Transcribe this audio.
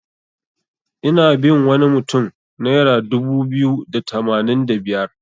Ina bin wani mutun naira dubu biyu da tamanin da biyar.